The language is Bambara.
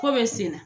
Ko bɛ sen na